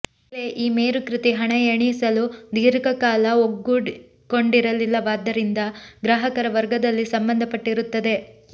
ಬೆಲೆ ಈ ಮೇರುಕೃತಿ ಹಣ ಎಣಿಸಲು ದೀರ್ಘಕಾಲ ಒಗ್ಗಿಕೊಂಡಿರಲಿಲ್ಲವಾದ್ದರಿಂದ ಗ್ರಾಹಕರ ವರ್ಗದಲ್ಲಿ ಸಂಬಂಧಪಟ್ಟಿರುತ್ತದೆ